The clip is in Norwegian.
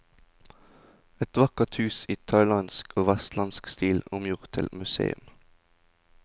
Et vakkert hus i thailandsk og vesterlandsk stil omgjort til museum.